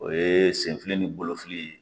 O ye senfili ni bolofili